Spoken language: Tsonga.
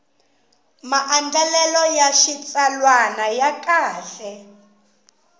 maandlalelo ya xitsalwana ya kahle